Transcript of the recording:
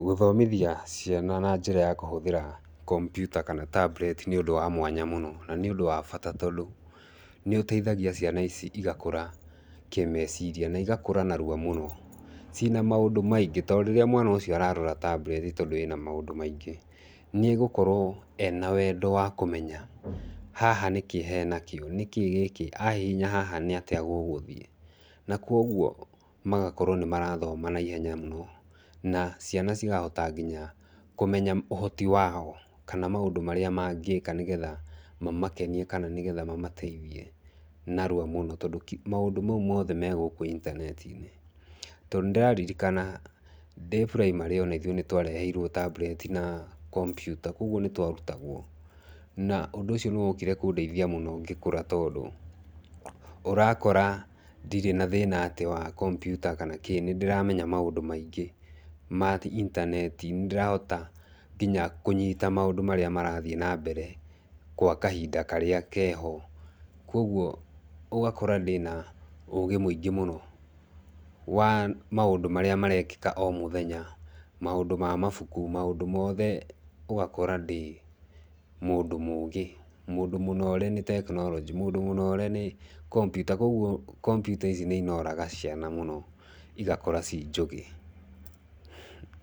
Gũthomithia ciana na njĩra ya kũhũthĩra kompiuta kana tablet nĩ ũndũ wa mwanya mũno. Na nĩ ũndũ wa bata tondũ, nĩ ũteithagia ciana ici igakũra, kĩmeciria. Na igakũra narua mũno. Cina maũndũ maingĩ. To rĩrĩa mwana ũcio ararora tablet tondũ ĩna maũndũ maingĩ, nĩ egũkorwo ena wendo wa kũmenya, haha nĩ kĩĩ hena kĩo, nĩ kĩĩ gĩkĩ? Ahihinya haha nĩ atĩa gũgũthiĩ. Na kũguo, magakorwo nĩ marathoma naihenya mũno. Na ciana cigahota nginya, kũmenya ũhoti wao, kana maũndũ marĩa mangĩka nĩgetha mamakenie kana nĩgetha mamateithie narua mũno. Tondũ, maũndũ mau mothe me gũkũ intaneti-inĩ. To nĩ ndĩraririkana, ndĩ primary ona ithuĩ nĩ twareheirwo tablet na kompiuta, kũguo nĩ twarutagwo. Na ũndũ ũcio nĩ wokire kũndeithia mũno ngĩkũra tondũ, ũrakora, ndirĩ na thĩna atĩ wa kompiuta kana kĩ, nĩ ndĩramenya maũndũ maingĩ ma intaneti, nĩ ndĩrahota nginya kũnyita maũndũ marĩa marathiĩ na mbere kwa kahinda karĩa keho. Kũguo, ũgakora ndĩna ũũgĩ mũingĩ mũno, wa maũndũ marĩa marekĩka o mũthenya, maũndũ ma mabuku, maũndũ mothe ũgakora ndĩ mũndũ mũũgĩ, mũndũ mũnore nĩ tekinoronjĩ, mũndũ mũnore nĩ kompiuta. Kũguo kompiuta ici nĩ inoraga ciana mũno igakũra ci njũgĩ.